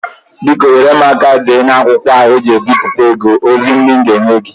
Biko nyèrè m aka deere m na akwụkwọ a eji ewepụta ego ozi ndị a m ga enye gị